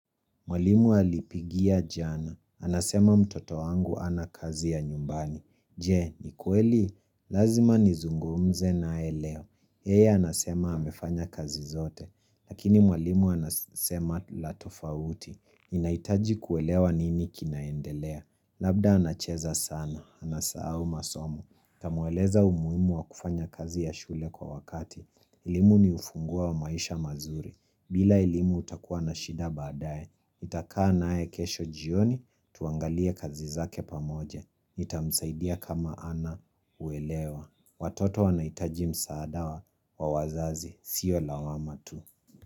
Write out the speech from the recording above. Mwalimu alipigia jana. Anasema mtoto wangu ana kazi ya nyumbani. Je, ni kweli? Lazima ni zungumze nae leo. Yeye anasema amefanya kazi zote. Lakini mwalimu anasema la tofauti. Inaitaji kuelewa nini kinaendelea. Labda anacheza sana. Anasa au masomo. Tamweleza umuimu wa kufanya kazi ya shule kwa wakati elimu ni ufunguo wa maisha mazuri bila elimu utakuwa na shida badaye Itakaa na ae kesho jioni tuangalia kazi zake pamoje Itamsaidia kama ana uelewa Watoto wanaitajim saada wa wazazi Sio lawama tu.